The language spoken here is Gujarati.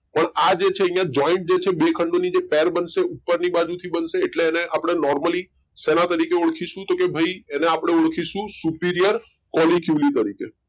પણ આ જે છે અઇયાં જોઈન્જે છે બે ખંડો ની જે પેર બનશે ઉપર ની બાજુ થી બનશે એટલે એને આપડે નોર્મલી શેના તારીખે ઓળખીશુ? તો કે ભઈ એને આપડે ઓળખીશુ superior કોલી ક્યુલી તરીખે.